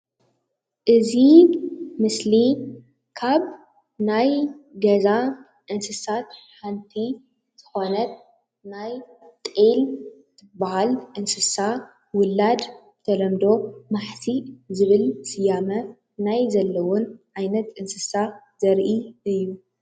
እዚ ምስሊ ካብ ናይ ገዛ እንስሳት ሓንቲ ዝኮነት ናይ ጤል እትብሃል እንስሳ ውላድ ብተለምዶ ማሕሲእ ዝብል ስያመ ናይ ዘለወን ዓይነት እንስሳ ዘርኢ እዩ፡፡